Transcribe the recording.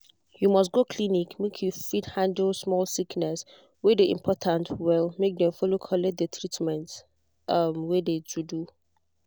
you must go clinic make you fit haandle small sickness wey de important well make dem follow collect de treatment um wey de to do.